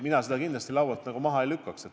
Mina seda kindlasti laualt maha ei lükkaks.